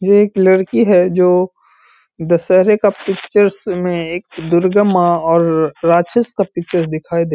ये एक लड़की है जो दशहरे का पिक्चर्स में एक दुर्गा माँ और राक्षस का पिक्चर दिखाई दे --